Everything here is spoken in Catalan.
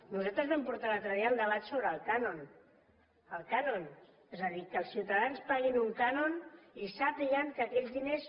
nosaltres vam portar l’altre dia el debat sobre el cànon és a dir que els ciutadans paguin un cànon i sàpiguen que aquells diners